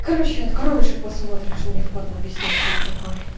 короче откроешь и посмотришь мне в падлу объяснить что это такое